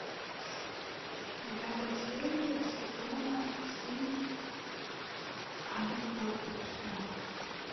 девятая серия сезона семь адам портит все